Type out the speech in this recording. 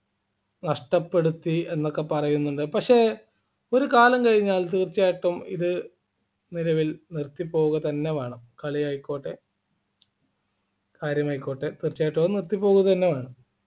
നഷ്ടപ്പെടുത്തി എന്നൊക്കെ പറയുന്നുണ്ട് പക്ഷേ ഒരു കാലം കഴിഞ്ഞാൽ തീർച്ചയായിട്ടും ഇത് നിലവിൽ നിർത്തി പോവുകതന്നെ വേണം കളി ആയിക്കോട്ടെ കാര്യമായിക്കോട്ടെ തീർച്ചയായിട്ടും അത് നിർത്തി പോവുക തന്നെ വേണം